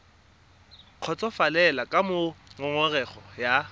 kgotsofalele ka moo ngongorego ya